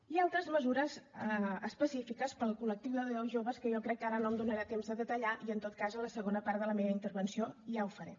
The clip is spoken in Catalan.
i altres mesures específiques per al col·lectiu de joves que jo crec que ara no tindré temps de detallar i en tot cas en la segona part de la meva intervenció ja ho faré